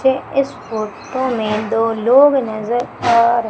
मुझे इस फोटो में दो लोग नजर आ र--